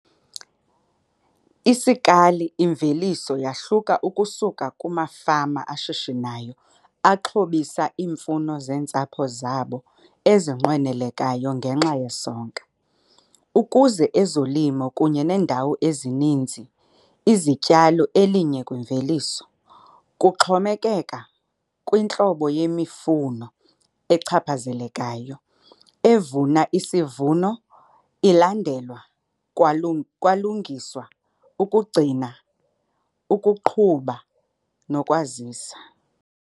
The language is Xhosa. Isikali imveliso yahluka ukusuka kumafama ashishinayo axhobisa iimfuno zentsapho zabo ezinqwenelekayo ngenxa yesonka, ukuze ezolimo kunye acreages ezininzi izityalo elinye-kwimveliso. Kuxhomekeka kuhlobo yemifuno ochaphazelekayo, evuna isivuno ilandelwa kwalungiswa, ukugcina, ukuqhuba nokwazisa.